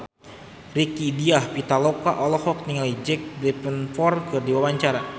Rieke Diah Pitaloka olohok ningali Jack Davenport keur diwawancara